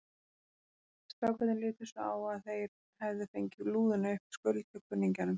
Strákarnir litu svo á að þeir hefðu fengið lúðuna upp í skuld hjá kunningjanum.